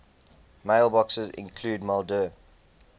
mailboxes include maildir